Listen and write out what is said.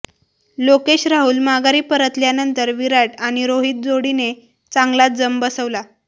लोकेश राहुल माघारी परतल्यानंतर विराट आणि रोहित जोडीने चांगलाच जम बसवला